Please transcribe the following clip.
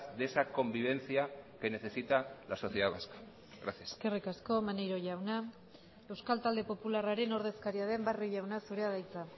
de esa convivencia que necesita la sociedad vasca gracias eskerrik asko maneiro jauna euskal talde popularraren ordezkaria den barrio jauna zurea da hitza